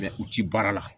u ti baara la